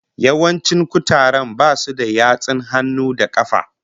Yawancin kutaren basu da yatsun hannu da kafa